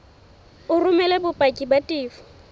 o romele bopaki ba tefo